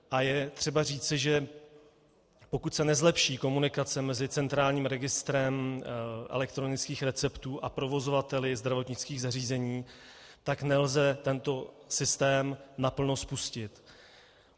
A je třeba říci, že pokud se nezlepší komunikace mezi centrálním registrem elektronických receptů a provozovateli zdravotnických zařízení, tak nelze tento systém naplno spustit.